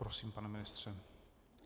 Prosím, pane ministře.